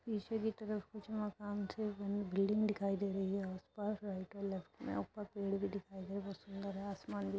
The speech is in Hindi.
पीछे की तरफ कुछ मकान बिल्डिंग दिखाई दे रही हैं आस पास और राइट और लेफ्ट मे ऊपर पेड़ भी दिखाई दे रहे हैं सुन्दर हैं आसमान भी --